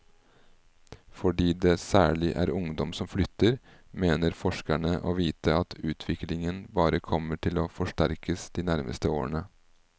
Fordi det særlig er ungdom som flytter, mener forskerne å vite at utviklingen bare kommer til å forsterkes de nærmeste årene.